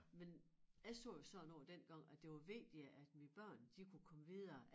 Men jeg sagde jo sådan noget dengang at det var vigtigere at mine børn de kunne komme videre